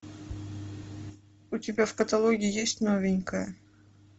у тебя в каталоге есть новенькая